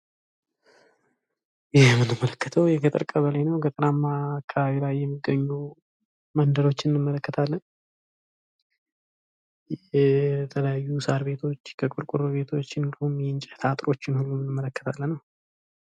ይህ የምንመለከተው የገጠር ቀበሌ ነው ገጠርማ አካባቢ ላይ የሚገኙ መንደሮችን እንመለከታለን የተለያዩ ቆርቆሮ ቤቶች፥ ሳር ቤቶች እንዲሁም የእንጨት አጥሮች እንዳሉ እንመለከታለን።